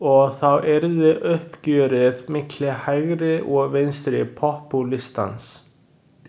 Og þá yrði uppgjörið milli hægri og vinstri popúlistans.